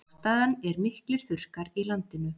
Ástæðan er miklir þurrkar í landinu